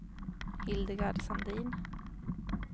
Hildegard Sandin